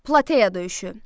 Plateya döyüşü.